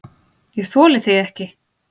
ÉG ÞOLI ÞIG EKKI!